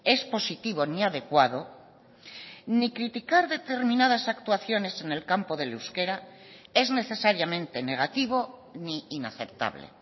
es positivo ni adecuado ni criticar determinadas actuaciones en el campo del euskera es necesariamente negativo ni inaceptable